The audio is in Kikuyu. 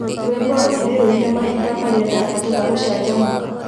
Rwĩmbo rũu nĩ rũine rmahinda marĩa ndabatara gũcanjamũka